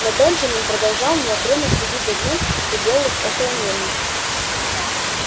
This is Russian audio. но бенджамин продолжал неотрывно следить за тем что делалось около мельницы